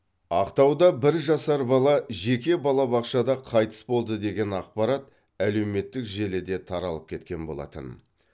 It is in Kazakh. ақтауда бір жасар бала жеке балабақшада қайтыс болды деген ақпарат әлеуметтік желіде таралып кеткен болатын